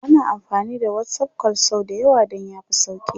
ana amfani da WhatsApp call sau da yawa Dan ya fi sauki